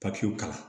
Papiyew kalan